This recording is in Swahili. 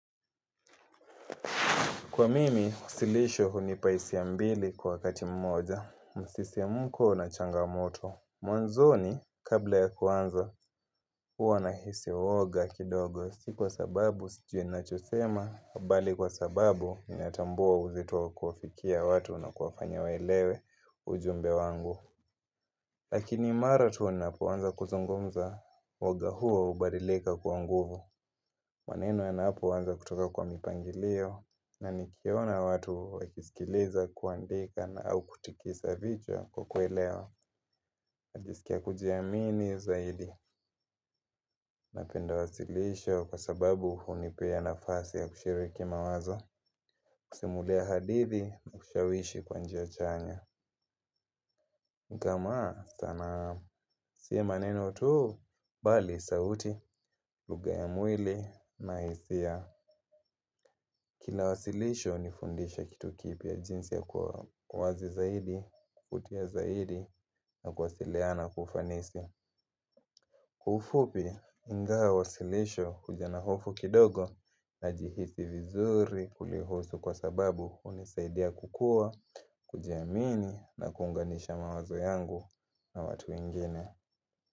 Kwa mimi, usilisho hunipea hisia mbili kwa wakati mmoja, msisimko na changamoto. Mwanzoni, kabla ya kuanza, huwa nahisi uoga kidogo. Si kwa sababu, sijui ninachosema, bali kwa sababu ninatambua uzito wa kuwafikia watu na kuwafanya waelewe ujumbe wangu. Lakini mara tu wanapoanza kuzungumza, uoga huo hubadilika kuwa nguvu. Maneno yanapoanza kutoka kwa mipangilio na nikiona watu wakisikiliza, kuandika na au kutikisa vichwa kwa kuelewa. Najisikia kujiamini zaidi. Napenda wasilisho kwa sababu hunipea nafasi ya kushiriki mawazo, kusimulia hadithi na kushawishi kwa njia chanya. Kama sanaa si maneno tu, bali sauti, lugha ya mwili na hisia. Kila wasilisho hunifundisha kitu kipya jinsi ya kuwa wazi zaidi, kutia zaidi na kuwasiliana kwa ufanisi. Kwa ufupi, ingawa wasilisho huja na hofu kidogo najihisi vizuri kulihusu kwa sababu hunisaidia kukua, kujiamini na kuunganisha mawazo yangu na watu wengine.